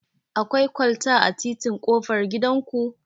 Akwai kwalta a titin ƙofar gidan ku?